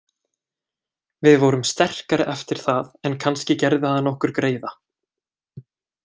Við vorum sterkari eftir það en kannski gerði hann okkur greiða.